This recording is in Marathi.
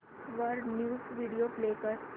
वर न्यूज व्हिडिओ प्ले कर